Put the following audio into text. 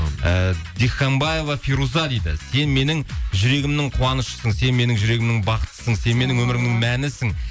ііі диханбаева фируза дейді сен менің жүрегімнің қуанышысың сен менің жүрегімнің бақытысың сен менің өмірімнің мәнісін